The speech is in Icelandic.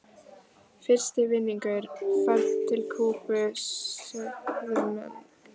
Fyrsti vinningur, ferð til Kúbu sögðu menn.